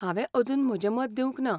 हांवें अजून म्हजें मत दिवंक ना.